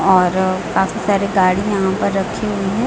और काफी सारी गाड़ी यहां पर रखी हुई है।